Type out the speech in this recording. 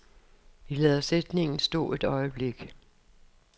Vi lader sætningen stå et øjeblik.